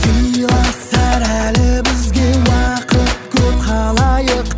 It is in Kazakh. сыйласар әлі бізде уақыт көп халайық